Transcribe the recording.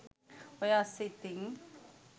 ඔය අස්සේ ඉතින්